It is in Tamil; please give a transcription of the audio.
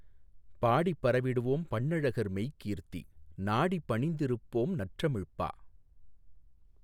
பாடிப் பரவிடுவோம் பண்ணழகர் மெய்க்கீர்த்தி நாடிப் பணிந்திருப்போம் நற்றமிழ்ப்பா